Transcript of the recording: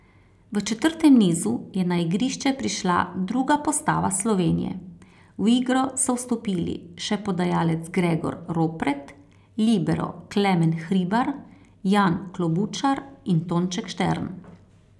V četrtem nizu je na igrišče prišla druga postava Slovenije, v igro so vstopili še podajalec Gregor Ropret, libero Klemen Hribar, Jan Klobučar in Tonček Štern.